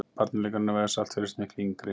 Barnaleikurinn að vega salt virðist miklu yngri.